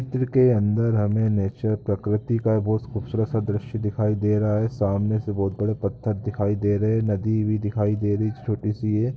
चित्र के अंदर हमें नेचर प्रकृति का बहोत खूबसूरत सा दृश्य दिखाई दे रहा है सामने से बहोत बड़ा पत्थर दिखाई दे रहे है नदी भी दिखाए दे रही जो छोटी सी है।